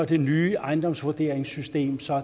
det nye ejendomsvurderingssystem som